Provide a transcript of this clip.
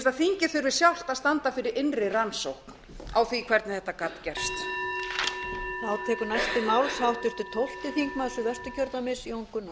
að þingið þurfi sjálft að standa fyrir innri rannsókn á því hvernig þetta gat gerst